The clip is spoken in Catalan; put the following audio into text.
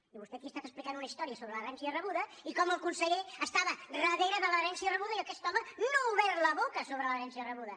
i vostè aquí ha estat explicant una història sobre l’herència rebuda i com el conseller estava darrere de l’herència rebuda i aquest home no ha obert la boca sobre l’herència rebuda